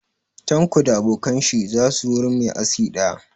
Tanko da abokan shi za su wurin mai aski ɗaya